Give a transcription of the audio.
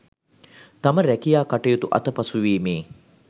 තම රැකියා කටයුතු අතපසුවීමේ